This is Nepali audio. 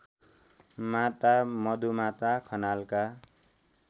माता मधुमाता खनालका